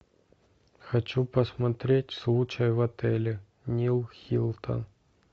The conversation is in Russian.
хочу посмотреть случай в отеле нил хилтон